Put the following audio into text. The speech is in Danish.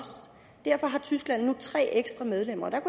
derfor har tyskland nu tre ekstra medlemmer der